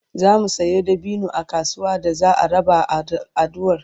zamu Sayo dabino a kasuwa da za'a raba a adduan fidda'u